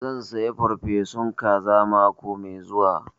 Zan saya farfesun kaza mako mai zuwa